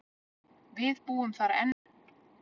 Við búum þar enn.